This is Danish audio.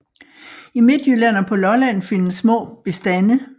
I Midtjylland og på Lolland findes små bestande